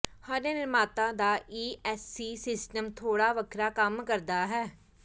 ਹਰ ਨਿਰਮਾਤਾ ਦਾ ESC system ਥੋੜਾ ਵੱਖਰਾ ਕੰਮ ਕਰਦਾ ਹੈ